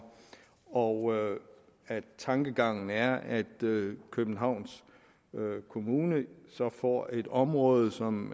og at tankegangen er at københavns kommune så får et område som